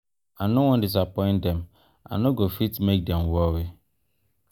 i no wan disappoint dem i no go fit make dem worry.